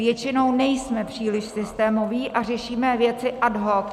Většinou nejsme příliš systémoví a řešíme věci ad hoc.